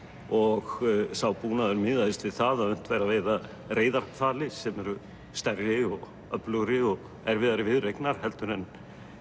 og sá búnaður miðaðist við það að unnt væri að veiða sem eru stærri og öflugri og erfiðari viðureignar heldur en